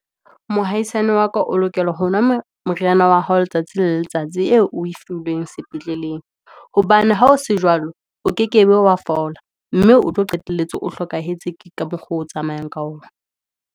Mohaisane wa ka o lokela hona moriyana wa hao, letsatsi le letsatsi eo o e filweng sepetleleng, hobane ha o se jwalo, o ke kebe wa fola, mme o tlo qetelletse o hlokahetse ka mokgwa oo o tsamayang ka ona.